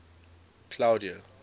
claudia